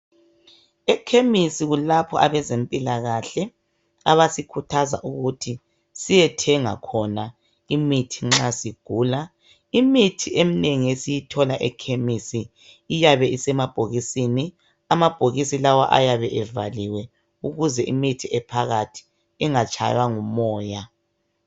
Ekhemisi kulapho abezempilakahle abasikhuthaza ukuthi siyethenga khona imithi nxa sigula imithi eminengi esiyithola ekhemisi iyabe isemabhokisini amabhokisi lawa ayabe evaliwe ukuze imithi ephakathi ingatshaywa ngumoya.